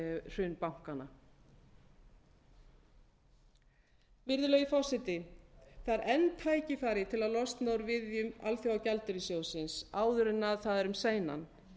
hrun bankanna virðulegi forseti það er enn tækifæri til að losna úr viðjum alþjóðagjaldeyrissjóðsins áður en það er um seinan